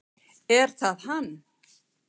Er það hann?